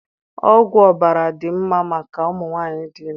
Ọgwụ ọbara dị mmá màkà ụmụnwanyi dị ime